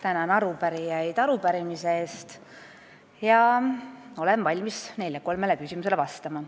Tänan arupärijaid arupärimise eest ja olen valmis neile kolmele küsimusele vastama.